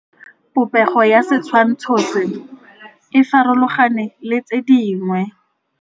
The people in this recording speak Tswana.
Popêgo ya setshwantshô se, e farologane le tse dingwe.